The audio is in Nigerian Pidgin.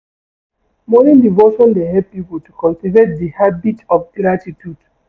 Morning devotion dey help pipo to cultivate di habit of gratitude.